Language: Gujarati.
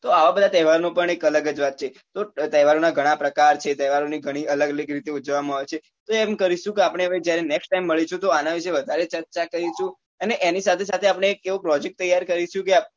તો આવા બધા તેહવારનો પણ એક અલગ વાત છે તેહવારોનો ઘણા બધા પ્રકાર છે તેહ્વારોની ઘણી અલગ રીતો હોય છે તો એમ કરીશું કે આપડે હવે જયારે next મળીશું ત્યારે આના વિષે વધારે ચર્ચા કરીશું અને એની સાથે સાથે એક એવો project તૈયાર કરીશું